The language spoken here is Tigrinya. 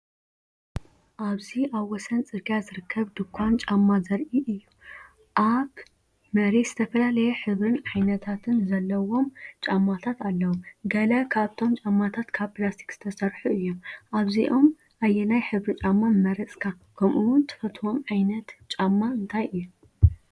ኣብዚ ኣብ ወሰን ጽርግያ ዝርከብ ድኳን ጫማ ዘርኢ እዩ። ኣብ መሬት ዝተፈላለየ ሕብርን ዓይነትን ዘለዎም ጫማታት ኣለዉ። ገለ ካብቶም ጫማታት ካብ ፕላስቲክ ዝተሰርሑ እዮም። ካብዚኦም ኣየናይ ሕብሪ ጫማ ምመረጽካ? ከምኡ ውን ትፈትውዎ ዓይነት ጫማ እንታይ እዩ?